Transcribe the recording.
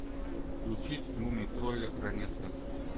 включить мумий тролля ранетка